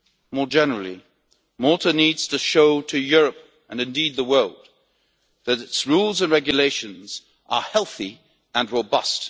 More generally, Malta needs to show to Europe and indeed the world that its rules and regulations are healthy and robust.